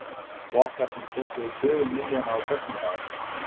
Flokkarnir töpuðu tugum milljóna á kosningaári